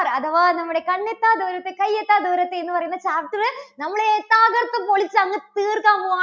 അഥവാ നമ്മുടെ കണ്ണെത്താ ദൂരത്ത് കയ്യെത്താ ദൂരത്ത് എന്ന് പറയുന്ന chapter റ് നമ്മള് തകർത്തുപൊളിച്ച് അങ്ങ് തീർക്കാൻ പോകുവാ~